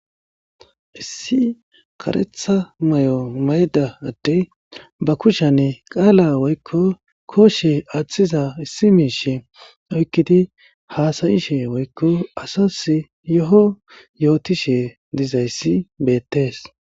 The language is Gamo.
issi kareeththa may'o maydda adey ba kushshani qalla woykko kooshe aaththiza issi miishe oykkidi haasayiishshe woykko asas yo'o yootiishshe dizayssi bettees